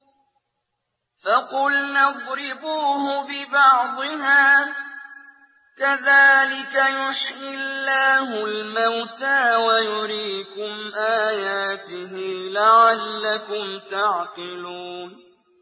فَقُلْنَا اضْرِبُوهُ بِبَعْضِهَا ۚ كَذَٰلِكَ يُحْيِي اللَّهُ الْمَوْتَىٰ وَيُرِيكُمْ آيَاتِهِ لَعَلَّكُمْ تَعْقِلُونَ